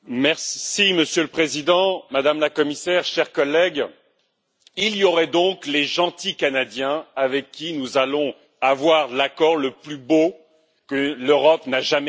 Monsieur le Président, Madame la Commissaire, chers collègues, il y aurait donc les gentils Canadiens avec qui nous allons avoir l'accord le plus beau que l'Europe n'ait jamais signé.